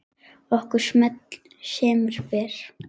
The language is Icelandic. Okkur semur vel